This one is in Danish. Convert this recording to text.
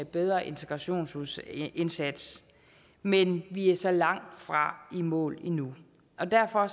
bedre integrationsindsats men vi er så langt fra i mål lige nu derfor